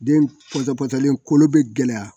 Den pɔtɔ pɔtɔlen kolo bɛ gɛlɛya